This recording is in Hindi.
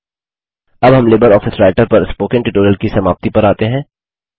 अब हम लिबर आफिस राइटर पर स्पोकन ट्यूटोरियल की समाप्ति पर आते हैं